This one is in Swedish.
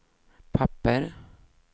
papper